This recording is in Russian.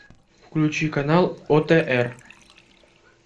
включи канал отр